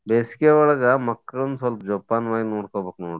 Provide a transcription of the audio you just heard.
ಬೇಸಿಗೆಯೊಳಗ ಮಕ್ಕಳ್ನ್ ಸ್ವಲ್ಪ ಜೋಪಾನವಾಗಿ ನೋಡ್ಕೋಬೇಕ್ ನೋಡ್ರಿ.